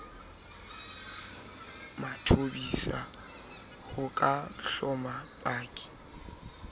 mathobisa ho ka hloma paki